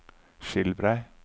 Skilbrei